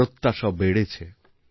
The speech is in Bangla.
প্রত্যাশাও বেড়েছে